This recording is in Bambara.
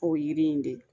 K'o yiri in de